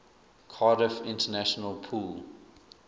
cardiff international pool